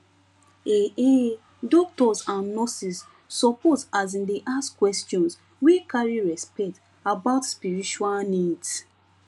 um doctors and nurses suppose asin dey ask questions wey carry respect about spiritual needs